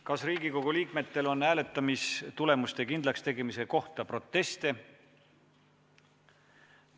Kas Riigikogu liikmetel on hääletamistulemuste kindlakstegemise kohta proteste?